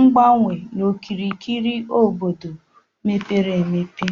ngbanwe n'okirikiri obodo mepere emepe.